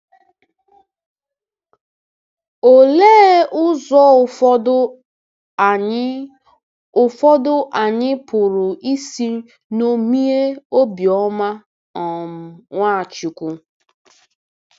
Olee ụzọ ụfọdụ anyị ụfọdụ anyị pụrụ isi ṅomie obiọma um Nwachukwu?